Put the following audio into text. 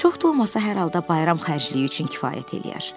Çox da olmasa, hər halda bayram xərcliyi üçün kifayət eləyər.